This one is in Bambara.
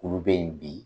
Olu bɛ ye bi